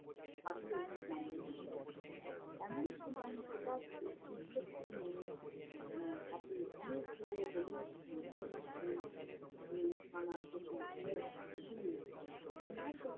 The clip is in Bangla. থাকলে জানিয়ে দেয়। এমন সময় হঠাৎ একটি ছোট্ট মেয়ে এর হাতে অনেক গুলো হলুদ